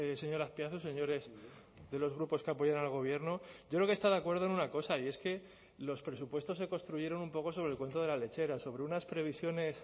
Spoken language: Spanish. señor azpiazu señores de los grupos que apoyan al gobierno yo creo que está de acuerdo en una cosa y es que los presupuestos se construyeron un poco sobre el cuento de la lechera sobre unas previsiones